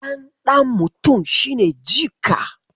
Ɗan ɗan mutum shi ne jika.